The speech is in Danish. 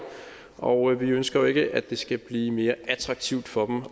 og vi ønsker jo ikke at det skal blive mere attraktivt for